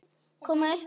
Koma upp um hann.